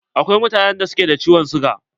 Akwai mutanen da suke da ciwon siga.